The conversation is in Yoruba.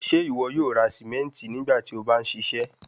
Ṣe iwọ yoo ra simenti nigbati o ba n ṣiṣẹ?